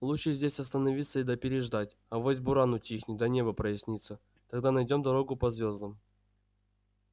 лучше здесь остановиться да переждать авось буран утихнет да небо прояснится тогда найдём дорогу по звёздам